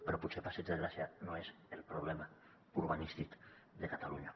però potser el passeig de gràcia no és el problema urbanístic de catalunya